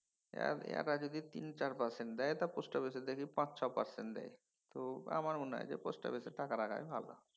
এঁরা যদি তিন চার percent দেয় পোস্টঅফিসে দেখি পাঁচ ছয় percent দেয়। তো আমার মনে হয় যে পোস্টঅফিসে টাকা রাখাই ভালো।